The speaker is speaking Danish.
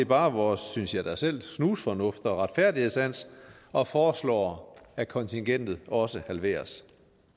bare vores synes jeg da selv snusfornuft og retfærdighedssans og foreslår at kontingentet også halveres